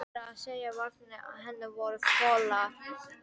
Meira að segja varirnar á henni voru fölar.